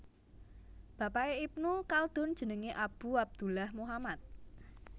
Bapaké Ibnu Khaldun jenengé Abu Abdullah Muhammad